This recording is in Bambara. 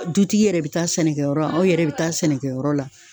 Dutigi yɛrɛ be taa sɛnɛkɛ yɔrɔ la ,aw yɛrɛ be taa sɛnɛkɛ yɔrɔ la.